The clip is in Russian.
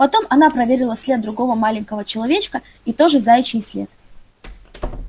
потом она проверила след другого маленького человечка и тоже заячий след